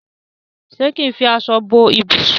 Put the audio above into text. ṣe kín fí aṣọ bó ibusùn.